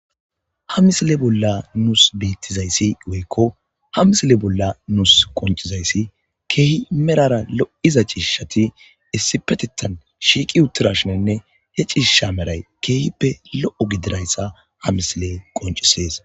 Ha misile bolla nuus beittizayssi goykko ha misile bolla nuus qoncizayssi keehi merara lo7iza ciishati essi petettan shiiqi uttirashinenne he cishisha meray keehippe lo7o gidirayssa ha misile qoncisees